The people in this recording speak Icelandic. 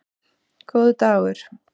Góður dagur!